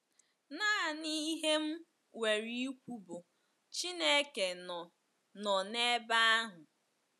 Nanị ihe m nwere ikwu bụ Chineke nọ nọ n'ebe ahụ.